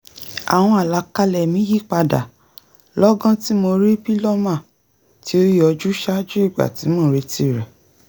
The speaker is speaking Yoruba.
àwọn àlàkalẹ̀ mí yípadà lọ́gán tí mo rí pílọ́mà tí ó yọjú ṣaájú ìgbà tí mò ń retí rẹ̀